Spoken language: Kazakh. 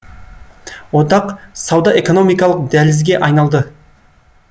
одақ сауда экономикалық дәлізге айналды